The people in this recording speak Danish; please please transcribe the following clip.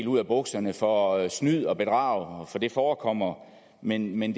ud af bukserne for at snyd og bedrag for det forekommer men men